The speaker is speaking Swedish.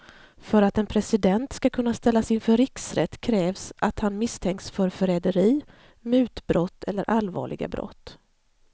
För att en president ska kunna ställas inför riksrätt krävs att han misstänks för förräderi, mutbrott eller allvarliga brott.